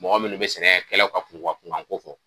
Mɔgɔ munnu bi sɛnɛkɛlaw ka kunga kunga ko fɔ